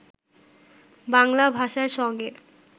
বাংলা ভাষার সঙ্গে